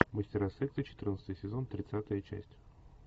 мастера секса четырнадцатый сезон тридцатая часть